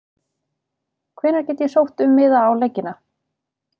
Hvenær get ég sótt um miða á leikina?